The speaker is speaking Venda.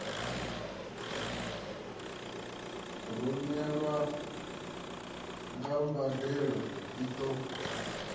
rumelwa na mbadelo i ṱo